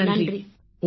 அனைவரும் நன்றி ஐயா